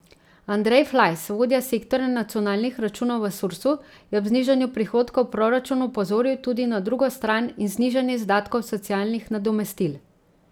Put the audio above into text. Andrej Flajs, vodja sektorja nacionalnih računov v Sursu, je ob znižanju prihodkov v proračunu opozoril tudi na drugo stran in znižanje izdatkov socialnih nadomestil.